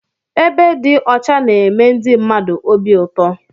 Ebe dị ọcha na-eme ndị mmadụ obi ụtọ.